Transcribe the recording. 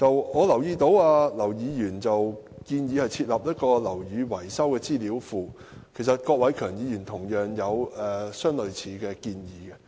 我留意到劉議員建議設立"樓宇維修資料庫"，郭偉强議員亦提出了類似的建議。